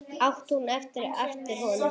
át hún upp eftir honum.